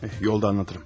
Eh, yolda danışaram.